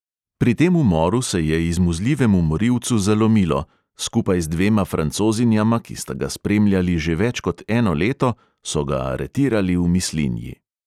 Pri tem umoru se je izmuzljivemu morilcu zalomilo, skupaj z dvema francozinjama, ki sta ga spremljali že več kot eno leto, so ga aretirali v mislinji.